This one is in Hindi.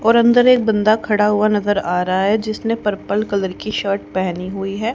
और अंदर एक बंदा खड़ा हुआ नजर आ रहा है जिसने पर्पल कलर की शर्ट पहनी हुई है।